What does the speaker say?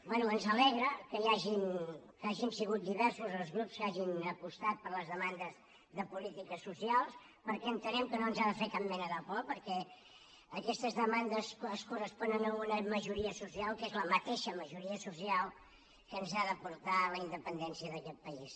bé ens alegra que hagin sigut diversos els grups que hagin apostat per les demandes de polítiques socials perquè entenem que no ens ha de fer cap mena de por perquè aquestes demandes es corresponen a una majoria social que és la mateixa majoria social que ens ha de portar a la independència d’aquest país